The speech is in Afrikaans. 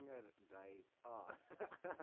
vinger dui dan